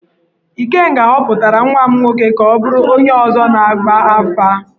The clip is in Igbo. Ikenga họpụtara nwa m nwoke ka ọ bụrụ onye ọzọ na-agba afà.